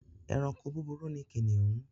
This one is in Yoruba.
Ẹranko búburú ni kìnìún.